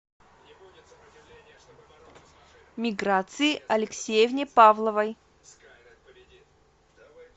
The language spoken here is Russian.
миграции алексеевне павловой